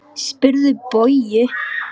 Spyrðu Bauju!